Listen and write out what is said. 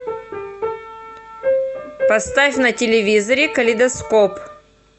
поставь на телевизоре калейдоскоп